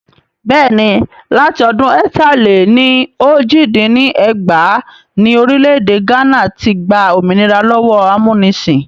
Bẹ́ẹ̀ni, láti ọdún ẹ̀ta-lé-ní-ojì dín ní ẹgbàá ni Orílẹ̀ èdè gánà ti gbà òmìnira lọ́wọ́ amúnisìn